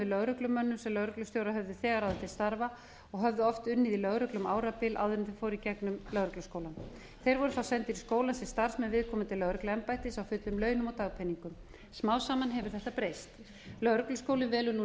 lögreglumönnum sem lögreglustjórar höfðu þegar ráðið til starfa og höfðu oft unnið í lögreglu um árabil áður en þeir fóru í gegnum lögregluskólann þeir voru sendir til skólans sem starfsmenn viðkomandi lögregluembættis á fullum launum og dagpeningum smám saman hefur þetta breyst lögregluskólinn velur nú